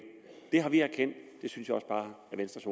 det har vi erkendt det synes jeg også bare at venstres